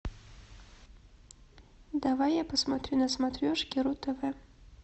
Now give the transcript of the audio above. давай я посмотрю на смотрешке ру тв